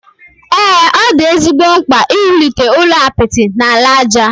Ee, ọ dị ezigbo mkpa iwulite ụlọ apịtị na ala aja.